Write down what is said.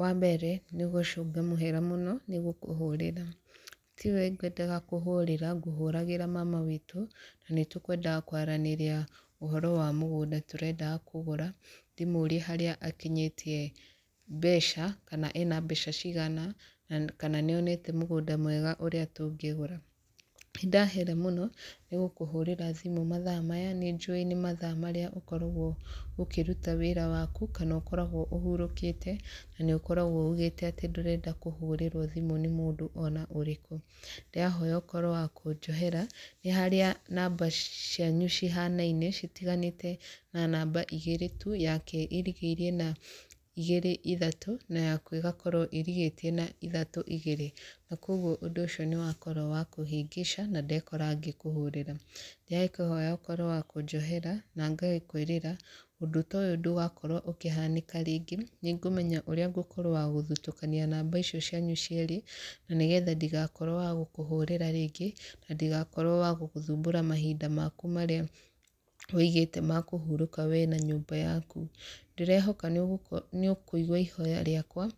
Wa mbere, nĩ gũcũnga mũhera mũno, nĩ gũkũhũrĩra. Tiwe ngwendaga kũhũrĩra, ngũhũragĩra mama witũ, na nĩ tũkwendaga kwaranĩria ũhoro wa mũgũnda tũrendaga kũgũra, ndĩmũrie harĩa akinyĩtie mbeca, kana ena mbeca cigana, kana nĩ onete mũgũnda mwega ũrĩa tũngĩgũra. Nĩ ndahera mũno, nĩ gũkũhũrĩra thimũ mathaa maya, nĩ njũĩ nĩ mathaa marĩa ũkoragwo ũkĩruta wĩra waku, kana ũkoragwo ũhurũkĩte, na nĩ ũkoragwo ugĩte atĩ ndũrenda kũhũrĩrwo thimũ nĩ mũndũ ona ũrĩkũ. Ndĩrahoya ũkorwo wa kũnjohera. Nĩ harĩa namba cianyu cihanaine, citiganĩte na namba igĩrĩ tu, yake ĩrigĩirie na igĩrĩ ithatũ, na yaku ĩgakorwo ĩrigĩtie na ithatũ igĩrĩ. Na kũguo ũndũ ũcio nĩ wakorwo wa kũhĩngĩca, na ndekora ngĩkũhũrĩra. Ndĩrakĩhoya ũkorwo wa kũnjohera, na ngagĩkwĩrĩra ũndũ ta ũyũ ndũgakorwo ũkĩhanĩka rĩngĩ. Nĩ ngũmenya ũrĩa ngũkorwo wa gũthutũkania namba icio cianyu cierĩ, na nĩgetha ndigakorwo wa gũkũhũrĩra rĩngĩ, na ndigakorwo wa gũgũthumbũra mahinda maku marĩa wĩigĩte ma kũhurũka we na nyũmba yaku. Ndĩrehoka nĩ ũkũigua ihooya rĩakwa,